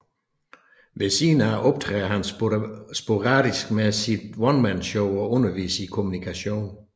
Ved siden af optræder han sporadisk med sit onemanshow og underviser i Kommunikation